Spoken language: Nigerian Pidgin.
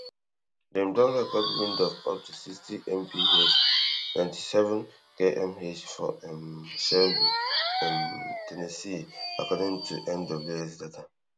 dem don record wind of up to sixty mph ninety-seven kmh for um shelby um ten nessee according to NWS data